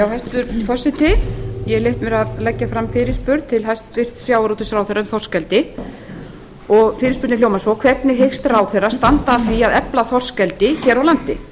hæstvirtur forseti ég hef leyft mér að leggja fram fyrirspurn til hæstvirts sjávarútvegsráðherra um þorskeldi fyrirspurnin hljóðar svo hvernig hyggst ráðherra standa að því að efla þorskeldi hér á landi